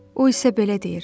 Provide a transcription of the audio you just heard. O isə belə deyir: